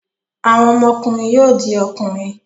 Àwọn ọmọkùnrin yóò di ọkùnrin.